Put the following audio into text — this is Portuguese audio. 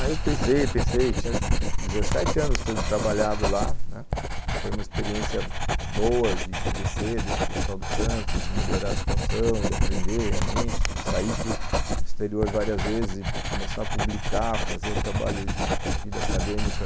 Aí eu pensei, pensei, pensei, tinha dezessete anos tendo trabalhado lá, foi uma experiência boa de crescer dentro do Hospital do Câncer, de melhorar a situação, de aprender realmente, sair para o exterior várias vezes e começar a publicar, fazer o trabalho de vida acadêmica.